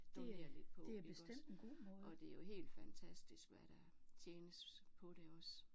Donere lidt på iggås og det er jo helt fantastisk hvad der tjenes på det også